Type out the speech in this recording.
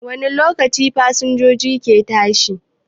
Wani lokaci fasinjoji ke tashi?